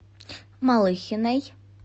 малыхиной